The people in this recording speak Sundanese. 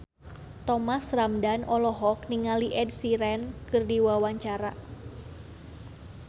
Thomas Ramdhan olohok ningali Ed Sheeran keur diwawancara